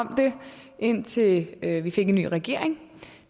om det indtil vi vi fik en ny regering